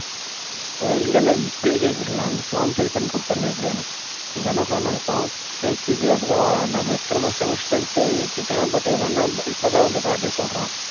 டேய் இல்லையில்லை இப்பயே கேட்டுடலாம் அந்த form fill பண்ணி கொடுத்துரலாம் எப்படியாவது எங்க அண்ணன் சொன்னான் அந்த form எனக்கு தெரியாதுடா நம்ம இத்தனை semester எடுத்துட்டன். But இப்ப என்ன இப்ப தான் அந்த கார்த்தி சொல்றான்.